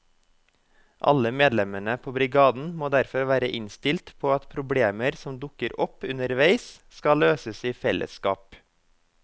Alle medlemmene på brigaden må derfor være innstilt på at problemer som dukker opp underveis skal løses i fellesskap.